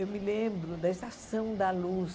Eu me lembro da Estação da Luz.